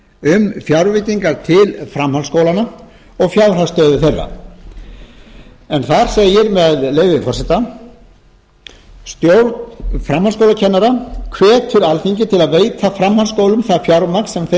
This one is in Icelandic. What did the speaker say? um fjárveitingar til framhaldsskólanna og fjárhagsstöðu þeirra þar segir með leyfi forseta stjórn félags framhaldsskólakennara hvetur alþingi til að veita framhaldsskólum það fjármagn sem þeir